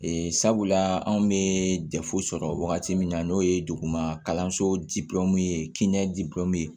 Ee sabula anw bɛ sɔrɔ wagati min na n'o ye duguma kalanso ye kɛnɛya dil'o ye